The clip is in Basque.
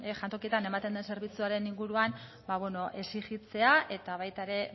jantokietan ematen den zerbitzuaren inguruan exijitzea eta baita ere